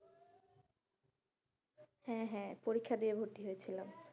হ্যাঁ হ্যাঁ পরীক্ষা দিয়ে ভর্তি হয়েছিলাম,